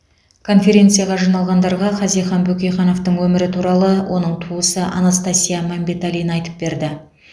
конференцияға жиналғандарға хазихан бөкейхановтың өмірі туралы оның туысы анастасия мәмбеталина айтып берді